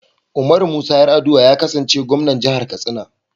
Umaru Musa Yar'adua ya kasance Gwamnan Jihar Katsina.